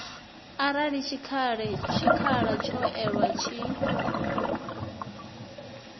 arali tshikhala tsho ewaho tshi